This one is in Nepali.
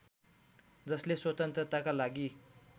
जसले स्वतन्त्रताका लागि